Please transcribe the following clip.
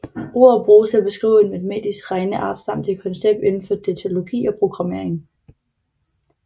Ordet bruges til at beskrive en matematisk regneart samt et koncept indenfor datalogi og programmering